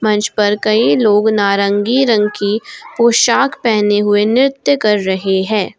मंच पर कई लोग नारंगी रंग की पोशाक पहने हुए नृत्य कर रहे हैं।